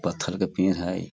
पत्थर के पेंड़ हय।